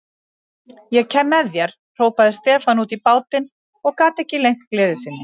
Ég kem með þér, hrópaði Stefán út í bátinn og gat ekki leynt gleði sinni.